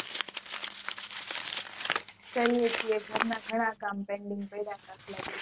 કરીએ છે ઘર માં ઘણા કામ pending પડ્યા તા આટલા દિવસ થી